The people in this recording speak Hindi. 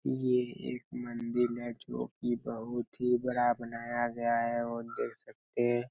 ये एक मंदिर है जो की बहुत ही बड़ा बनाया गया है और देख सकते--